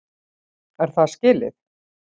Er það skilið?!